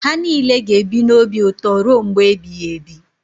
Ha niile ga-ebi n’obi ụtọ ruo mgbe ebighị ebi.